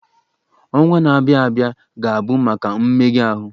Ọnwa na-abịa abịa ga-abụ maka mmega ahụ.